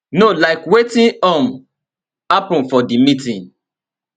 no like wetin um happun for di meeting